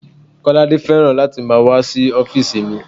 Kolade fẹ́ràn láti máa wá sí ọ́físì mi